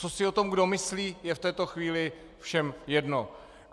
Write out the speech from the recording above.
Co si o tom kdo myslí, je v této chvíli všem jedno.